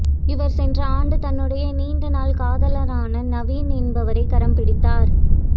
இவர் சென்ற ஆண்டு தன்னுடைய நீண்ட நாள் காதலரான நவீன் என்பவரை கரம் பிடித்தார்